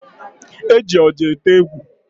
E ji oja ete egwu